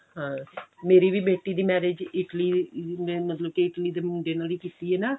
ਹਾਂ ਮੇਰੀ ਵੀ ਬੇਟੀ ਦੀ marriage Italy ਦੇ ਮਤਲਬ ਕਿ Italy ਦੇ ਮੁੰਡੇ ਨਾਲ ਹੀ ਕੀਤੀ ਏ ਨਾ